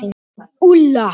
Úlla